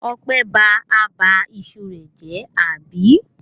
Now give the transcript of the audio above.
Ọpẹ́ ba abà iṣu rẹ̀ jẹ́, àbí?